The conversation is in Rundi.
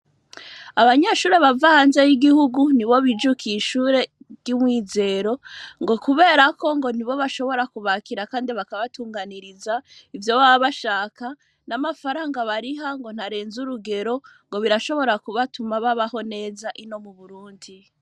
Abanyeshure bava hanze y'igihugu nibo bijukiye ishure ry'Umwizero ngo kubera ko ngo nibo bashoboye kubakira kandi bakabatunganiriza ivyo baba bashaka, n'amafararanga bariha ngo ntarenze urugero ngo birashobora kubatuma babaho neza ino mu Burundi.